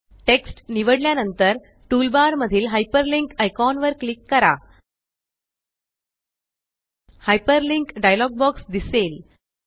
text निवडल्या नंतर tool bar मधील हायपरलिंक आयकॉन वर क्लिक करा हायपरलिंक डायलॉग बॉक्स दिसेल